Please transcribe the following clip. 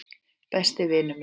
Besti vinur minn.